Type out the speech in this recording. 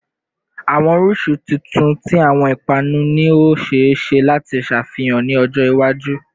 Awọn oriṣi tuntun ti awọn ipanu ni o ṣee ṣe lati ṣafihan ni ọjọ iwaju